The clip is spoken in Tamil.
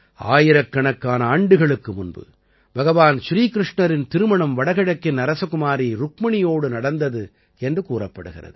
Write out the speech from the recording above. ஆயிரக்கணக்கான ஆண்டுகளுக்கு முன்பு பகவான் ஸ்ரீ கிருஷ்ணரின் திருமணம் வடகிழக்கின் அரசகுமாரி ருக்மணியோடு நடந்தது என்று கூறப்படுகிறது